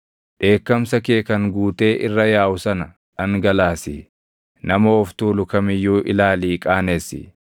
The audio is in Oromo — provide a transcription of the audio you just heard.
Dheekkamsa kee kan guutee irra yaaʼu sana dhangalaasi; nama of tuulu kam iyyuu ilaalii qaanessi.